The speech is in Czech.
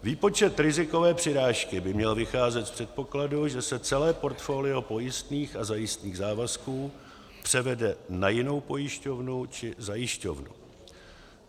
Výpočet rizikové přirážky by měl vycházet z předpokladu, že se celé portfolio pojistných a zajistných závazků převede na jinou pojišťovnu či zajišťovnu.